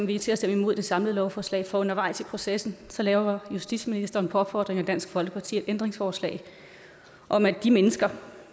vi til at stemme imod det samlede lovforslag for undervejs i processen lavede justitsministeren på opfordring fra dansk folkeparti et ændringsforslag om at de mennesker